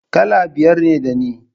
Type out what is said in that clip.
Kala biyar ne da ni